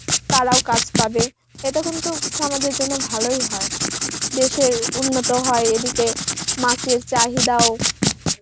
তারাও কাজ পাবে. এতে কিন্তু সমাজের জন্য ভালোই হয় দেশের উন্নত হয় এদিকে মাছের চাহিদাও